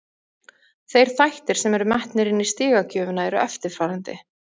Þeir þættir sem eru metnir inni í stigagjöfina eru eftirfarandi: